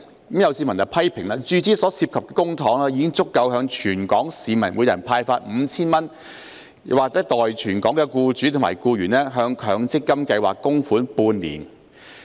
有市民批評，注資所涉公帑已足夠向全港市民每人派發 5,000 元，或代全港僱主及僱員向強積金計劃供款半年。